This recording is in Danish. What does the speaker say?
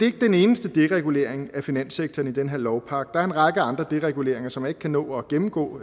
ikke den eneste deregulering af finanssektoren i den her lovpakke der er en række andre dereguleringer som jeg ikke kan nå at gennemgå